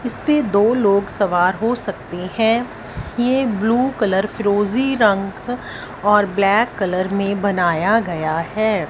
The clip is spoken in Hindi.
इसपे दो लोग सवार हो सकते हैं ये ब्लू कलर फिरोजी रंग और ब्लैक कलर में बनाया गया है।